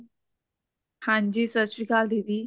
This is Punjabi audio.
ਹਾਂਜੀ ਸਤਿ ਸ਼੍ਰੀ ਅਕਾਲ ਦੀਦੀ